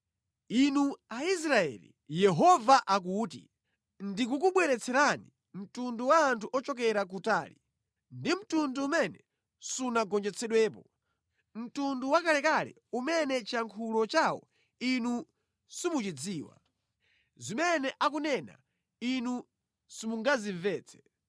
Inu Aisraeli,” Yehova akuti, “Ndikukubweretserani mtundu wa anthu ochokera kutali, ndi mtundu umene sunagonjetsedwepo, mtundu wakalekale umene chiyankhulo chawo inu simuchidziwa, zimene akunena inu simungazimvetse.